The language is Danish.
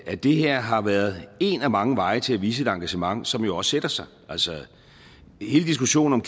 at det her har været en af mange veje til at vise et engagement som jo også sætter sig altså hele diskussionen